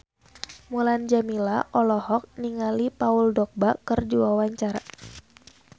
Mulan Jameela olohok ningali Paul Dogba keur diwawancara